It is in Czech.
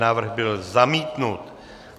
Návrh byl zamítnut.